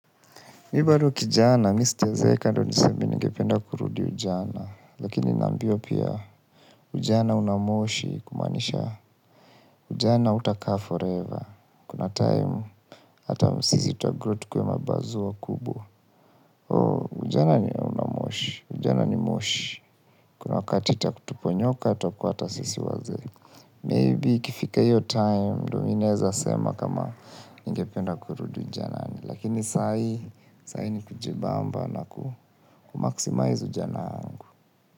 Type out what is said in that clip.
Mi bado kijana, mi sijazeeka ndo niseme ningependa kurudi ujana, lakini nambiwa pia ujana una moshi kumanisha ujana utakaa forever. Kuna time, hata sisi tutagrow tukuwe mabazu wakubwa. Ujana ni unamoshi, ujana ni moshi. Kuna wakati itatuponyoka, tutakua hata sisi wazee. Maybe ikifika hiyo time ndo mimi naeza sema kama ningependa kurudi ujanani. Lakini sai ni kujibamba na kumaximize ujana wangu.